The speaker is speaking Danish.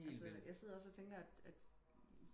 altså jeg sidder også og tænker at at